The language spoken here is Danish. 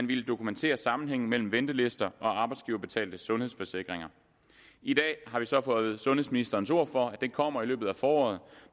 ville dokumentere sammenhængen mellem ventelister og arbejdsgiverbetalte sundhedsforsikringer i dag har vi så fået sundhedsministerens ord for at det kommer i løbet af foråret